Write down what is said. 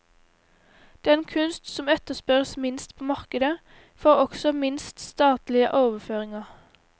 Den kunst som etterspørres minst på markedet, får også minst statlige overføringer.